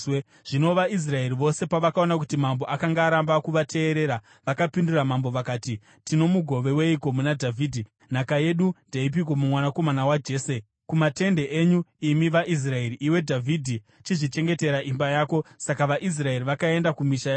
Zvino vaIsraeri vose pavakaona kuti mambo akanga aramba kuvateerera, vakapindura mambo vakati: “Tino mugove weiko muna Dhavhidhi, nhaka yedu ndeipiko mumwanakomana waJese? Kumatende enyu, imi vaIsraeri! Iwe Dhavhidhi, chizvichengetera imba yako!” Saka vaIsraeri vakaenda kumisha yavo.